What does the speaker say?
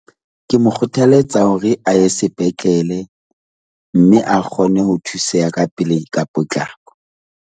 Ke mo kgothalletsa hore a ye sepetlele mme a kgone ho thuseha ka pele ka potlako.